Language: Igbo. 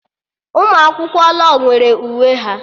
Ụmụ akwụkwọ law nwere uwe ha